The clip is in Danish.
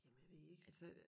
Jamen jeg ved ikke